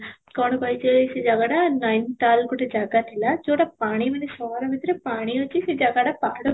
କ'ଣ କହିଛି ସେ ଜାଗାଟା ନୟନତାଲ ଗୋଟେ ଜାଗା ଥିଲା ଯଉଟା ପାଣି ମାନେ ପାହାଡ଼ ଭିତରେ ପାଣି ଅଛି ସେ ଜାଗାଟା ପାହାଡ଼